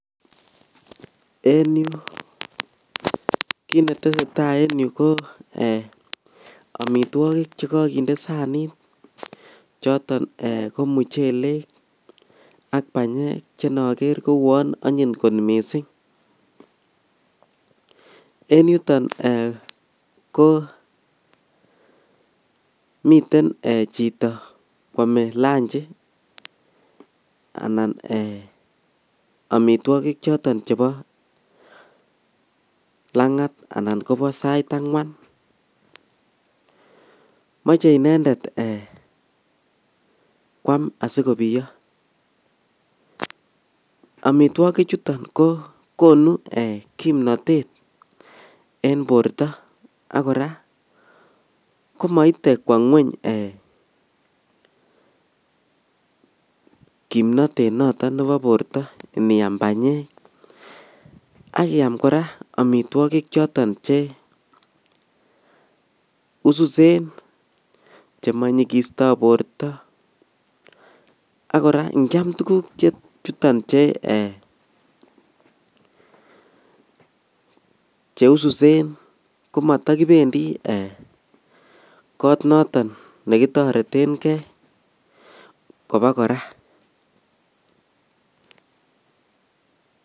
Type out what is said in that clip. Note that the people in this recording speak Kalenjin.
En yu kitnetesetaa en yu ko ee omitwogik chekokinde sanit choton ee komuchelek ak banyek chenoker koun onyit kot missing' en yuton ee komiten chito kwome lunch anan ee omitwogik choton chebo langat anan kobo sait angwan moche inendet ee kwam asikobiyo omitwokichuton kokonu kimnotet en borto ak koraa komoite kwo ngweny komnotete noton nebo borto Indiaam banyek ak iaam koraa omitwogik choton ee cheususen chemonyikisto borto ak koraa inkiam tuguk chuton che ee cheususen komotokibendi ee kot noton nekitoretengee kobakoraa.